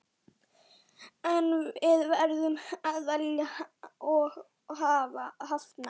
En við verðum að velja og hafna.